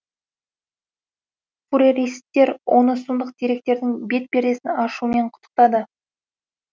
фуреристер оны сұмдық деректердің бет пердесін ашуымен құттықтады